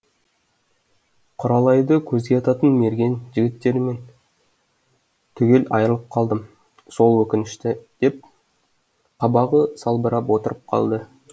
құралайды көзге ататын мерген жігіттерімнен түгел айырылып қалдым сол өкінішті деп қабағы салбырап отырып қалды